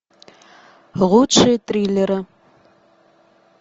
лучшие триллеры